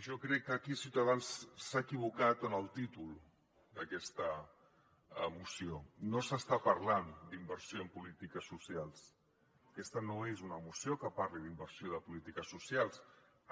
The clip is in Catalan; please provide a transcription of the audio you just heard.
jo crec que aquí ciutadans s’ha equivocat en el títol d’aquesta moció no s’està parlant d’inversió en polítiques socials aquesta no és una moció que parli d’inversió de polítiques socials